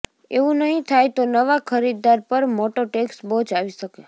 એવું નહીં થાય તો નવા ખરીદદાર પર મોટો ટેક્સ બોજ આવી શકે